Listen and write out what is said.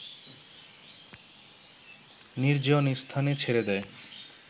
নির্জন স্থানে ছেড়ে দেয়